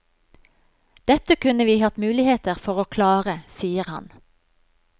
Dette kunne vi hatt muligheter for å klare, sier han.